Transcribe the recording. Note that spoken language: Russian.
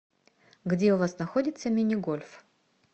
где у вас находится мини гольф